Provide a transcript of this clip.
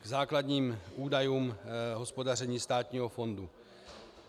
K základním údajům hospodaření státního fondu.